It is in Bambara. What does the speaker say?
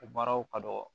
O baaraw ka dɔgɔ